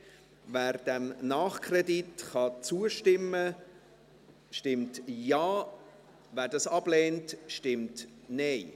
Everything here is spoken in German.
Wer diesem Nachkredit zustimmen kann, stimmt Ja, wer dies ablehnt, stimmt Nein.